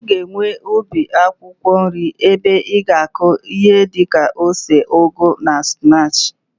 I ga-enwe ubi akwụkwọ nri ebe i ga-akụ ihi di ka ose, ugu na spinach.